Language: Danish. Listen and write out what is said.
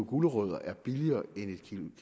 gulerødder er billigere end en